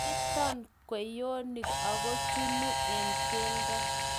Kintoon kweyonik aku chunu eng' keldo